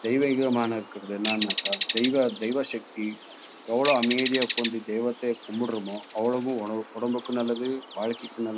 தெய்வீகமா னர்கது என்னனாக்கா தெய்வ தெய்வ சக்தி எவ்ளோ அமைதியா உக்காந்து தெய்வத்த கும்புடுரோமோ அவளோவு உடம் உடம்புக்கும் நல்லது வாழ்க்கைக்கும் நல்ல.